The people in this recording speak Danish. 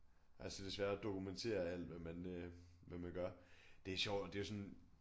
Altså det svære at dokumentere alt hvad man øh hvad man gør det sjovt og det jo sådan